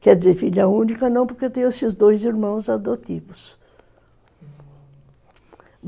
Quer dizer, filha única não, porque eu tenho esses dois irmãos adotivos, hum...